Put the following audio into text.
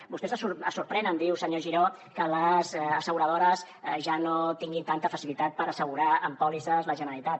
vostès es sorprenen diu senyor giró que les asseguradores ja no tinguin tanta facilitat per assegurar amb pòlisses la generalitat